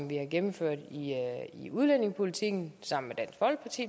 vi har gennemført i udlændingepolitikken